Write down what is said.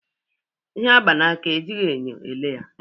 Ihe agba n'aka, ejighị enyo ele ya